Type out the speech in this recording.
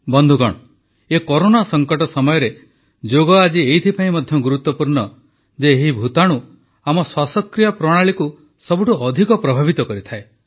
ବନ୍ଧୁଗଣ ଏ କରୋନା ସଂକଟ ସମୟରେ ଯୋଗ ଆଜି ଏଇଥିପାଇଁ ମଧ୍ୟ ଗୁରୁତ୍ୱପୂର୍ଣ୍ଣ ଯେ ଏହି ଭୂତାଣୁ ଆମ ଶ୍ୱାସକ୍ରିୟା ପ୍ରଣାଳୀକୁ ସବୁଠୁ ଅଧିକ ପ୍ରଭାବିତ କରିଥାଏ